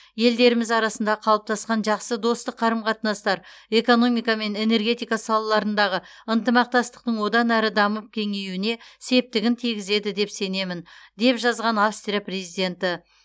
елдеріміз арасында қалыптасқан жақсы достық қарым қатынастар экономика мен энергетика салаларындағы ынтымақтастықтың одан әрі дамып кеңеюіне септігін тигізеді деп сенемін деп жазған австрия президенті